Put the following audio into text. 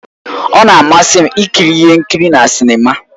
Ọ na-amasị m ikiri ihe nkiri na sinima